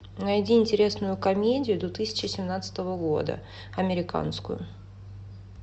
найди интересную комедию две тысячи семнадцатого года американскую